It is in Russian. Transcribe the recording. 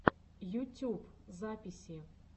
ютюб записи